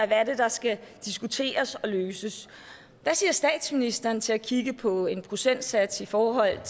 er det der skal diskuteres og løses hvad siger statsministeren til at kigge på en procentsats i forhold